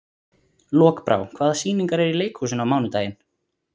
Lokbrá, hvaða sýningar eru í leikhúsinu á mánudaginn?